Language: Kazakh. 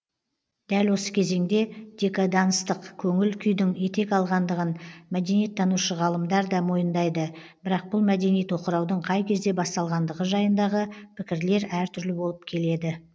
дәл осы кезеңде декаданстық көңіл күйдің етек алғандығын мәдениеттанушы ғалымдар да мойындайды бірақ бұл мәдени тоқыраудың қай кезде басталғандығы жайындағы пікірлер әртүрлі болып келеді